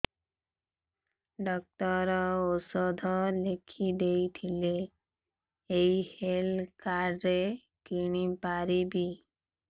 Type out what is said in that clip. doctor ଔଷଧ ଲେଖିଦେଇଥିଲେ ଏଇ ହେଲ୍ଥ କାର୍ଡ ରେ କିଣିପାରିବି